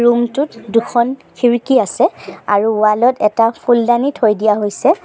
Room টোত দুখন খিৰিকী আছে আৰু ৱাল ত এটা ফুলদানি থৈ দিয়া হৈছে।